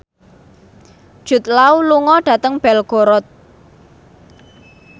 Jude Law lunga dhateng Belgorod